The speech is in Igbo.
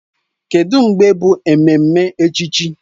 Kedụ mgbe bụ ememme echichi?